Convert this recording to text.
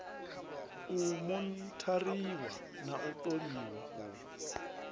u monithariwa na ṱoliwa u